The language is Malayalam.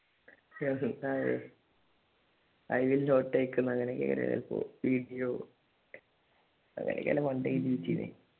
i will not take video അങ്ങനെയൊക്കെയാണ് മണ്ടയിൽ എഴുതിവെച്ചത്.